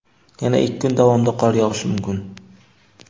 yana ikki kun davomida qor yog‘ishi mumkin.